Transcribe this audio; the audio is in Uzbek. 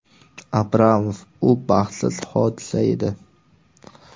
Abramov: Bu baxtsiz hodisa edi.